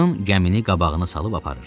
Axın gəmini qabağına salıb aparırdı.